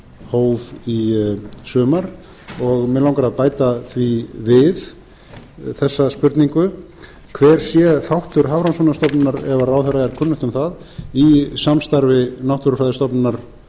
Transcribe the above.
hóf í sumar mig langar að bæta því við þessa spurningu hver sé þáttur hafrannsóknastofnunar ef ráðherra er kunnugt um það í samstarfi náttúrufræðistofnunar